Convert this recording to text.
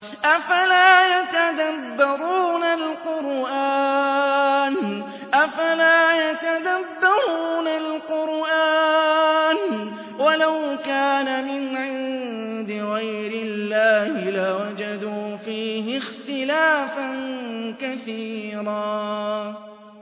أَفَلَا يَتَدَبَّرُونَ الْقُرْآنَ ۚ وَلَوْ كَانَ مِنْ عِندِ غَيْرِ اللَّهِ لَوَجَدُوا فِيهِ اخْتِلَافًا كَثِيرًا